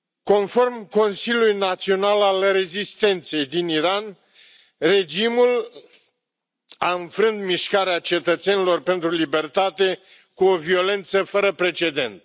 Conform Consiliului Național al Rezistenței din Iran, regimul a înfrânt Mișcarea Cetățenilor pentru Libertate cu o violență fără precedent.